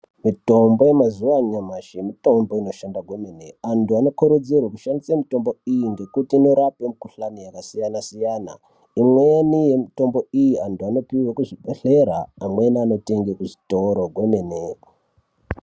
Mitombo mazuwa anyamashi mitombo inoshanda kwemene. Antu anokurudzirwe kushandisa mitombo iyi ngekuti inorape mikhuhlani yakasiyana siyana. Imweni mitombo iyi antu anopuwe kuzvibhedhlera amweni anotenge kuzvitoro kwemene.